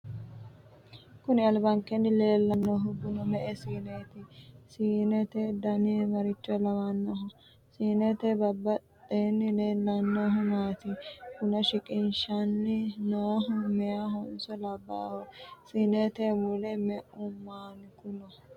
Kuni albankeenni leellannohu bunu me'e siineeti. Siinete dani maricho lawanno? Siinete badheenni leellannohu maati. Buna shiqishanni noohu meyahonso labbaaho? Siinete mule me'u maanki no?